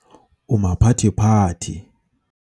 o maphathephathe